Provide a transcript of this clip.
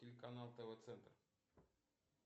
телеканал тв центр